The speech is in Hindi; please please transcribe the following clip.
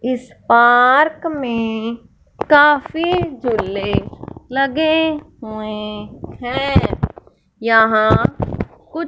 इस पार्क में काफी झूले लगे हुए हैं यहां कुछ--